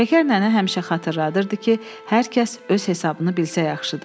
Şəkər nənə həmişə xatırladırdı ki, hər kəs öz hesabını bilsə yaxşıdır.